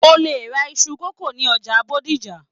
O le ra iṣu kókó ní ọjà Bódìjà.